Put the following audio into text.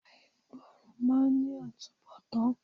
Àìgbọràn máà ń ní àtúnbọ̀tán.